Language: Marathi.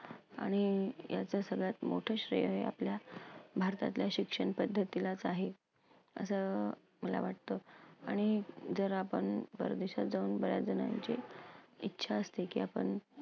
आणि यातच सगळ्यात मोठं श्रेय आहे आपल्या भारतातल्या शिक्षण पद्धतीलाच आहे असं मला वाटतं. आणि जर आपण परदेशात जाऊन बऱ्याच जणांचे इच्छा असते की आपण